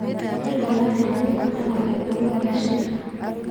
Andũ mararĩrĩria bata wa gĩthomo gĩa ciana.